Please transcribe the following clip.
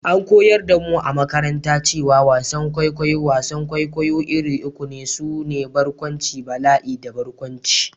An koyar da mu a makaranta cewa wasan kwaikwayo/wasan kwaikwayo iri uku ne, su ne: Barkwanci, Bala'i da Barkwanci.